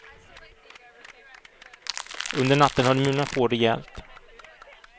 Under natten har det mulnat på rejält.